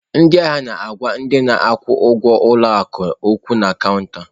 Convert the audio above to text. Ndị ahịa na-agwa ndị na-akwụ ụgwọ ụlọ akụ okwu na cọunta.